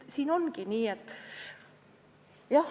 Ongi nii.